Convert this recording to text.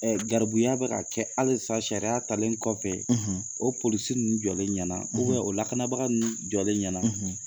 Ɛ gabuya bɛ ka kɛ halisa sariya talen kɔfɛ, , o polisi ninnu jɔlen ɲɛna, o lakanabaga ninnu jɔlen ɲɛna!